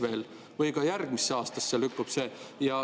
Või see lükkub ka järgmisse aastasse?